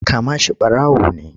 Kama shi ɓarawo ne!